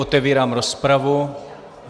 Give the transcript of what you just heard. Otevírám rozpravu.